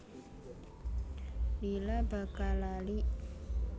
Lila bakal lali